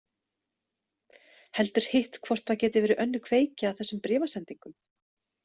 Heldur hitt hvort það geti verið önnur kveikja að þessum bréfasendingum?